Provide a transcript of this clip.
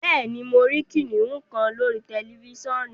Bẹẹni, mo rí kìnnìún kan lórí tẹlifisiọ̀nù